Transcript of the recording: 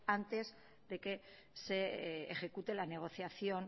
antes de que se ejecute la negociación